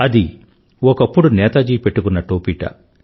అది ఒకప్పుడు నేతాజీ పెట్టుకున్న టోపీట